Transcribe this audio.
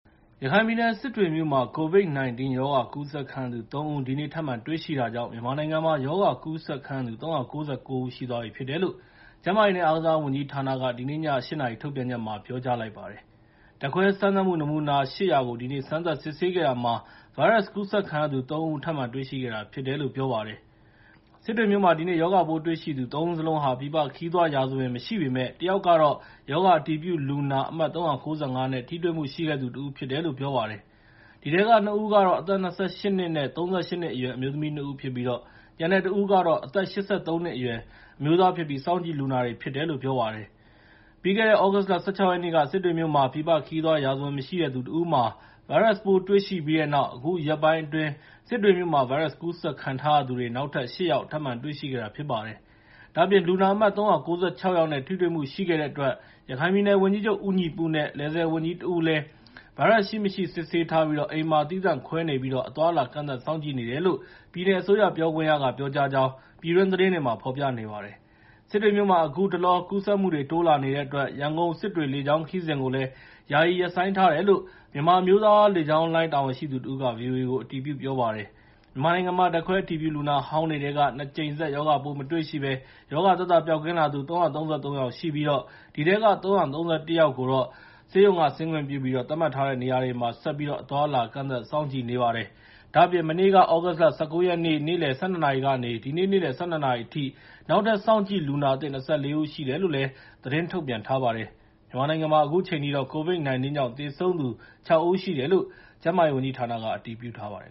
ရခိုင်ပြည်နယ် စစ်တွေမြို့မှာ COVID-19 ရောဂါကူးစက်ခံရတဲ့သူ ၃ ဦး ဒီနေ့ ထပ်မံတွေ့ရှိခဲ့တာကြောင့် မြန်မာနိုင်ငံမှာ ရောဂါကူးစက်ခံရသူ ၃၉၉ ဦး ရှိသွားပြီလို့ ကျန်းမာရေး နဲ့ အားကစားဝန်ကြီးဌာနက ဒီနေ့ည ၈ နာရီ ပြောကြားလိုက်ပါတယ်။ ဓါတ်ခွဲ စမ်းသပ်မှု နမူနာ ၈၀၀ ကို စမ်းသပ်စစ်ဆေးခဲ့တာမှာ ဗိုင်းရပ်စ်ကူးစက်ခံရသူ ၃ ဦး ထပ်မံတွေ့ရှိခဲ့တာ ဖြစ်တယ်လို့ ပြောပါတယ်။ စစ်တွေမြို့မှာ ဒီနေ့ ရောဂါပိုးတွေ့ရှိသူ ၃ ဦးစလုံးဟာ ပြည်ပခရီးသွားရာဇဝင် မရှိပေမဲ့ တစ်ယောက်ကတော့ ရောဂါအတည်ပြုလူနာ အမှတ် ၃၉၅ နဲ့ ထိတွေ့မှုရှိခဲ့သူ တဦးဖြစ်တယ်လို့ ပြောပါတယ်။ ဒီထဲက ၂ ဦးကတော့ အသက် ၂၈ နှစ် နဲ့ ၃၈ နှစ်အရွယ် အမျိုးသမီး ၂ ဦး ဖြစ်ပြီး၊ ကျန်တဲ့တဦးကတော့ အသက် ၈၃ နှစ်အရွယ် အမျိုးသားဖြစ်ပြီး စောင့်ကြည့်လူနာတွေ ဖြစ်တယ်လို့ ပြောပါတယ်။ ပြီးခဲ့တဲ့ သြဂုတ်လ ၁၆ ရက်နေ့က စစ်တွေ့မြို့မှာ ပြည်ပခရီးသွားရာဇဝင်မရှိတဲ့သူတဦးမှာ ဗိုင်းရပ်စ်ပိုးတွေ့ရှိပြီးတဲ့နောက် အခုရက်ပိုင်းအတွင်း စစ်တွေမြို့မှာ ဗိုင်းရပ်စ်ကူးစက်ခံထားရသူတွေ နောက်ထပ် ၈ ယောက် ထပ်မံတွေ့ရှိခဲ့တာဖြစ်ပါတယ်။ ဒါ့အပြင် လူနာအမှတ် ၃၉၆ ယောက်နဲ့ ထိတွေ့မှုရှိခဲ့တဲ့အတွက် ရခိုင်ပြည်နယ်ဝန်ကြီးချုပ် ဦးညီပုနဲ့ လယ်/ဆည်ဝန်ကြီး တဦးလည်း ဗိုင်းရပ်စ်ရှိ၊ မရှိ စစ်ဆေးထားပြီး အိမ်မှာ သီးသန့်ခွဲနေ့ပြီးအသွားအလာကန့်သတ်စောင့်ကြည့်နေတယ်လို့ ပြည်နယ်အစိုးရ ပြောခွင့်ရကပြောကြာကြောင်း ပြည်တွင်းသတင်းတွေမှာ ဖော်ပြနေပါတယ်။ စစ်တွေမြို့မှာ အခုတလော ကူးစက်မှုတွေ တိုးလာနေတဲ့အတွက် ရန်ကုန်-စစ်တွေ လေကြောင်းခရီးစဉ်ကိုလည်း ယာယီရပ်ဆိုင်းထားတယ်လို့ မြန်မာအမျိုးသားလေကြောင်းလိုင်း တာဝန်ရှိသူတဦးက ဗီအိုအေကို အတည်ပြုပြောပါတယ်။ မြန်မာနိုင်ငံမှာ ဓါတ်ခွဲအတည်ပြုလူနာဟောင်းတွေထဲက ၂ ကြိမ် ဆက် ရောဂါပိုးမတွေ့ရှိဘဲ ရောဂါသက်သာပျောက်ကင်းလာသူ ၃၃၃ ယောက်ရှိပြီး ဒီထဲက ၃၃၁ ဦးကို ဆေးရုံးက ဆင်းခွင့်ပြုပြီး သတ်မှတ်ထားတဲ့နေရာတွေမှာ ဆက်ပြီးတော့ အသွားအလာ ကန့်သတ်စောင့်ကြည့်နေပါတယ်။ ဒါ့အပြင် မနေ့ သြဂုတ်လ ၁၉ ရက်နေ့ နေလယ် ၁၂ နာရီကနေ ဒီနေ့ နေ့လယ် ၁၂ နာရီအထိ နောက်ထပ် စောင့်ကြည့်လူနာ အသစ် ၂၄ ဦးရှိတယ်လို့လည်း သတင်းထုတ်ပြန်ထားပါတယ်။ မြန်မာနိုင်ငံမှာ အခုချိန်ထိတော့ COVID-19 ကြောင့် သေဆုံးတဲ့သူ ၆ ဦးရှိတယ်လို့ ကျန်းမာရေးဌာနက အတည်ပြုထားပါတယ်